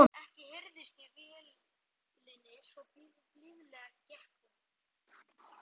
Ekki heyrðist í vélinni svo blíðlega gekk hún.